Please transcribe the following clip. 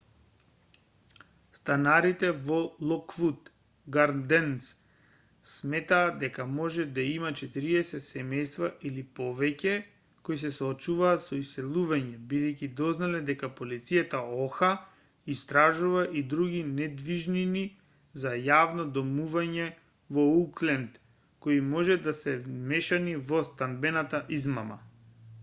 станарите во локвуд гарденс сметаат дека може да има 40 семејства или повеќе кои се соочуваат со иселување бидејќи дознале дека полицијата оха истражува и други недвижнини за јавно домување во оукленд кои може да се вмешани во станбената измама